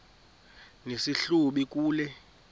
nesi hlubi kule